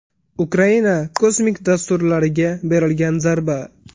Ukraina kosmik dasturlariga berilgan zarba.